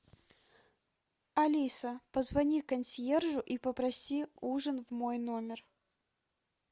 алиса позвони консьержу и попроси ужин в мой номер